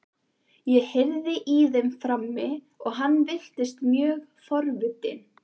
Ég heyrði í þeim frammi og hann virtist mjög forvitinn.